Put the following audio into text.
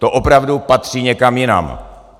To opravdu patří někam jinam.